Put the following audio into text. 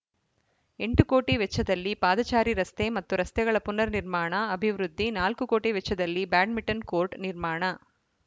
ಎಂಟು ಕೋಟಿ ವೆಚ್ಚದಲ್ಲಿ ಪಾದಚಾರಿ ರಸ್ತೆ ಮತ್ತು ರಸ್ತೆಗಳ ಪುನರ್‌ ನಿರ್ಮಾಣ ಅಭಿವೃದ್ಧಿ ನಾಲ್ಕು ಕೋಟಿ ವೆಚ್ಚದಲ್ಲಿ ಬ್ಯಾಡ್ಮಿಂಟನ್‌ ಕೋರ್ಟ್‌ ನಿರ್ಮಾಣ